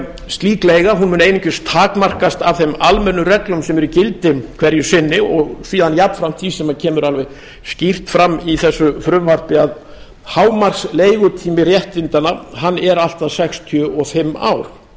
slík leiga mun einungis takmarkast af þeim almennu reglum sem eru í gildi hverju sinni og síðan jafnframt því sem kemur alveg skýrt fram í þessu frumvarpi að hámarksleigutími réttindanna er allt að sextíu og fimm ár